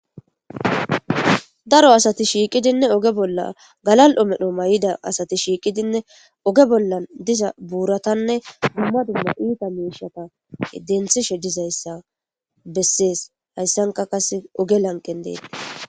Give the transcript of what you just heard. Daro asati shiiqidinne oge bolla galal7o medho may7ida asati shiiqidinne oge bolla diza buuratanne dumma dumma iita meeshata denthishe dizayssa bessees hayssanka kase oge lanqen deete.